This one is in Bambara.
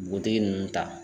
Dugutigi nunnu ta.